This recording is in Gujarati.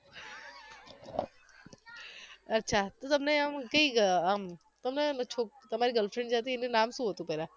અચ્છા તો તમને આમ કઈ ગઅ આમ છોક તમારી girlfriend જે હતી એનુ નામ શું હતુ પહેલા